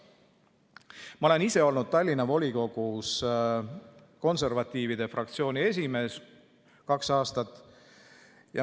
Ma olen ise olnud kaks aastat Tallinna volikogus konservatiivide fraktsiooni esimees.